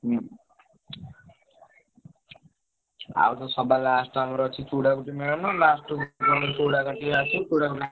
ହୁଁ। ଆଉ ତ ସବା last ଆମର ଅଛି ଚୂଡା ମେଳଣ last କୁ ପୁରା।